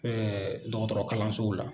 Ɛɛ m dɔgɔtɔrɔ kalansow la.